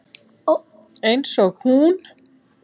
Einsog hún.